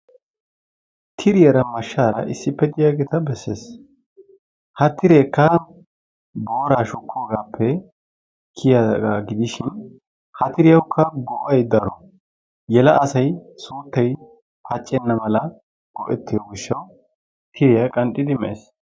Tiriyaara mashshaara issippe diyaageeta besses ha tireekka booraa shukkoogaappe kiyaagaa gidishin ha tiriyaawukka go'ay daro yela asay suuttay paccenna mala go'ettiyoo gishshaw tiriyaa qanxxidi mees.